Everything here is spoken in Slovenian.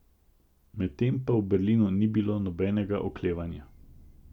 Medtem pa v Berlinu ni bilo nobenega oklevanja.